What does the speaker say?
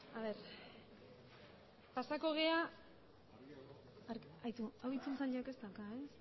a ver pasako gea park haitu ez dauka e